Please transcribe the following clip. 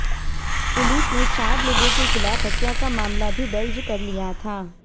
police ने चार लोगों के खिलाफ हत्या का मामला भी दर्ज कर लिया था